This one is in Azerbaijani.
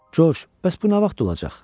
Coş, bəs bu nə vaxt olacaq?